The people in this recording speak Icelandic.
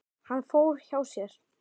Hann fór hjá sér.